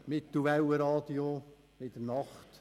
Mittelwellenradio, in der Nacht: